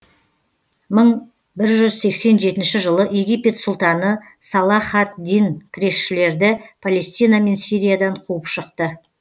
мың бір жүз сексен жетінші жылы египет сұлтаны салах ад дин кресшілерді палестина мен сириядан қуып шықты